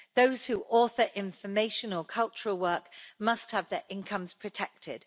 Those who author information or cultural work must have their incomes protected.